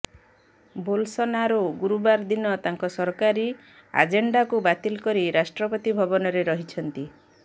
Bolsonaro ଗୁରୁବାର ଦିନ ତାଙ୍କର ସରକାରୀ ଆଜେଣ୍ଡାକୁ ବାତିଲ କରି ରାଷ୍ଟ୍ରପତି ଭବନରେ ରହିଛନ୍ତି